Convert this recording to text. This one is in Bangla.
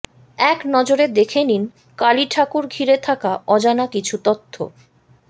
এক নজরে দেখে নিন কালী ঠাকুর ঘিরে থাকা অজানা কিছু তথ্য